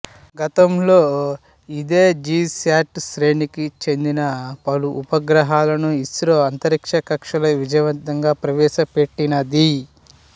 గతంలో ఇదే జీశాట్ శ్రేణికి చెందిన పలు ఉపగ్రహాలను ఇస్రో అంతరిక్షకక్ష్యలో విజయవంతంగా ప్రవేశ పెట్టినది